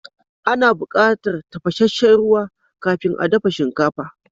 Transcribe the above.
Ana bukatar tafashesshen ruwa kafin a dafa shinkafa.